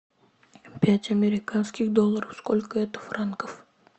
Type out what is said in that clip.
пять американских долларов сколько это франков